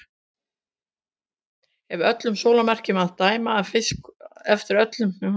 Eftir öllum sólarmerkjum að dæma að fiska upp úr honum hvernig maturinn bragðaðist.